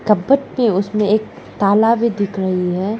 कपट पे उसमें एक ताला भी दिख रही है।